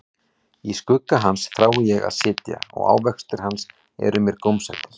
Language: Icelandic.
Í skugga hans þrái ég að sitja, og ávextir hans eru mér gómsætir.